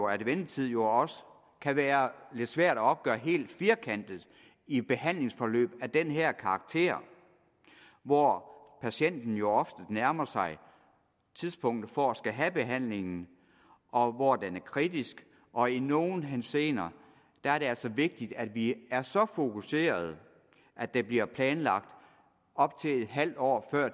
at ventetid jo også kan være lidt svær at opgøre helt firkantet i behandlingsforløb af den her karakter hvor patienten ofte nærmer sig tidspunktet for at skulle have behandlingen og hvor den er kritisk og i nogle henseender er det altså vigtigt at vi er så fokuseret at det bliver planlagt op til en halv år før